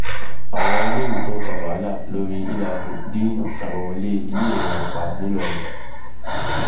àwọn iléèwé tó ń fa wàhálà lórí àbáwọlé iléèwé wọn pa nìlọrin